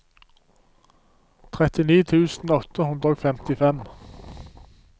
trettini tusen åtte hundre og femtifem